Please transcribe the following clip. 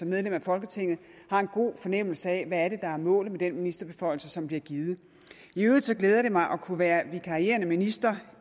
medlem af folketinget har en god fornemmelse af hvad der er målet med den ministerbeføjelse som bliver givet i øvrigt glæder det mig at kunne være vikarierende minister